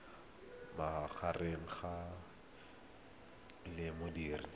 magareng ga gcis le modirisi